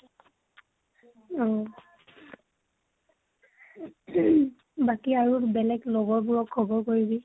অ বাকী আৰু বেলেগ লগৰ বোৰক খবৰ কৰিবি।